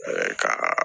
kaa